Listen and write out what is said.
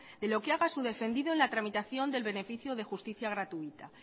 de lo que haga su defendido en la tramitación del beneficio de justicia gratuita